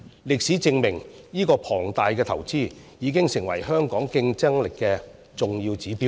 歷史證明這項龐大的投資，已經成為香港競爭力的重要指標。